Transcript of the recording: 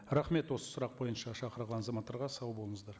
рахмет осы сұрақ бойынша шақырылған азаматтарға сау болыңыздар